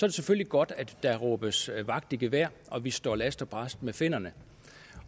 det selvfølgelig godt at der råbes vagt i gevær og at vi står last og brast med finnerne